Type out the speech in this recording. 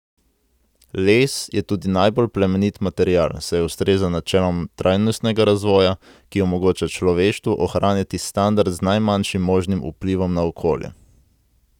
Les je tudi najbolj plemenit material, saj ustreza načelom trajnostnega razvoja, ki omogoča človeštvu ohranjati standard z najmanjšim možnim vplivom na okolje.